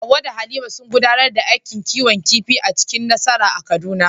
Hawwa da Halima sun gudanar da aikin kiwon kifi cikin nasara a Kaduna.